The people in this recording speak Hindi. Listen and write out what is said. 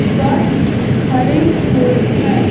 बस खड़ी हुई है।